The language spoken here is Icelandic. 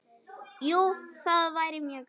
Jú, það væri mjög gaman.